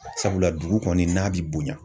Sabula dugu kɔni n'a bi bonya.